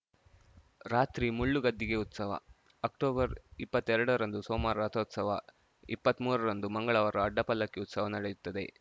ರಾತ್ರಿ ಮುಳ್ಳು ಗದ್ದಿಗೆ ಉತ್ಸವ ಅಕ್ಟೊಬರ್ ಇಪ್ಪತ್ತೆರಡ ರಂದು ಸೋಮವಾರ ರಥೋತ್ಸವ ಇಪ್ಪತ್ಮೂರ ರಂದು ಮಂಗಳವಾರ ಅಡ್ಡಪಲ್ಲಕ್ಕಿ ಉತ್ಸವ ನಡೆಯುತ್ತದೆ